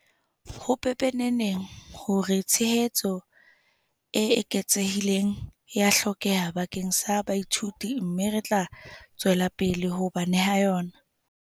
Ho pepeneneng hore tshehetso e eketsehileng ea hlokeha bakeng sa baithuti mme re tla tswella pele ho ba neha yona.